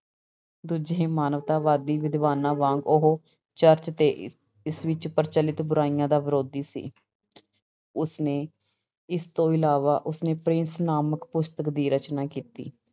ਦੂਜੇ ਹੀ ਮਾਨਵਤਾਵਾਦੀ ਵਿਦਵਾਨਾਂ ਵਾਂਗ ਉਹ ਚਰਚ ਤੇ ਇਸ ਵਿੱਚ ਪ੍ਰਚਲਿਤ ਬੁਰਾਈਆਂ ਦਾ ਵਿਰੋਧੀ ਸੀ ਉਸਨੇ ਇਸ ਤੋਂ ਇਲਾਵਾ ਉਸਨੇ ਪ੍ਰਿੰਸ ਨਾਮਕ ਪੁਸਤਕ ਦੀ ਰਚਨਾ ਕੀਤੀ।